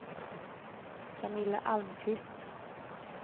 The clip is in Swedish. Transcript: Camilla Almqvist